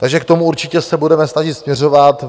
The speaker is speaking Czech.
Takže k tomu se určitě budeme snažit směřovat.